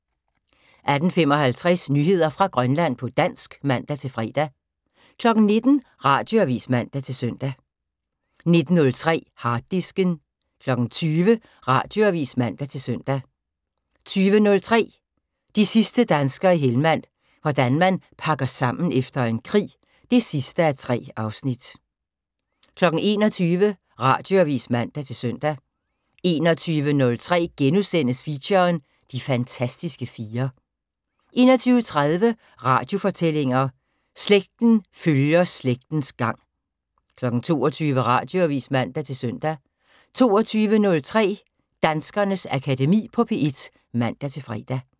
18:55: Nyheder fra Grønland på dansk (man-fre) 19:00: Radioavis (man-søn) 19:03: Harddisken 20:00: Radioavis (man-søn) 20:03: De sidste danskere i Helmand – hvordan man pakker sammen efter en krig 3:3 21:00: Radioavis (man-søn) 21:03: Feature: De fantastiske fire * 21:30: Radiofortællinger: Slægten følger slægtens gang 22:00: Radioavis (man-søn) 22:03: Danskernes Akademi på P1 (man-fre)